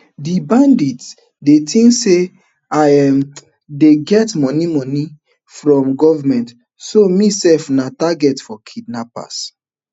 di bandits dey tink say i um dey get moni moni from goment so me sef na target for kidnapping